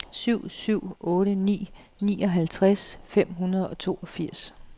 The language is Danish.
syv syv otte ni nioghalvtreds fem hundrede og toogfirs